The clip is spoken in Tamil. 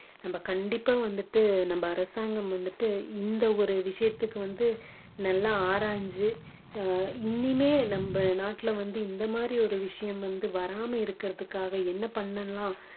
நம்ம கண்டிப்பா வந்துட்டு நம்ம அரசாங்கம் வந்துட்டு இந்த ஒரு விஷயத்துக்கு வந்து நல்லா ஆராய்ஞ்சு அஹ் இனிமே நம்ம நாட்டுல வந்து இந்த மாதிரி ஒரு விஷயம் வந்து வராம இருக்குறதுக்காக என்ன பண்ணலாம்